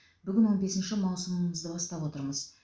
бүгін он бесінші маусымымызды бастап отырмыз